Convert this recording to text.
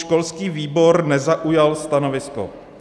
Školský výbor nezaujal stanovisko.